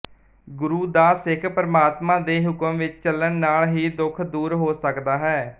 ਗੁਰੂ ਦਾ ਸਿੱਖ ਪਰਮਾਤਮਾ ਦੇ ਹੁਕਮ ਵਿੱਚ ਚੱਲਣ ਨਾਲ ਹੀ ਦੁਖ ਦੂਰ ਹੋ ਸਕਦਾ ਹੈ